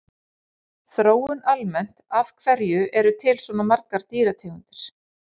Þróun almennt Af hverju eru til svona margar dýrategundir?